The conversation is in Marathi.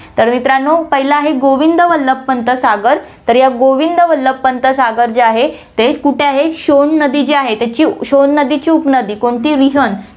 तर, मित्रांनो, पहिलं आहे, गोविंद वल्लभ पंत सागर, तर या गोविंद वल्लभ पंत सागर जे आहे, ते कुठे आहे, शोण नदी जी आहे, त्याची शोण नदीची उपनदी, कोणती, रिहन्द